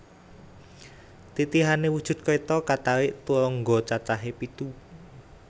Titihane wujud kreta katarik turangga cacahe pitu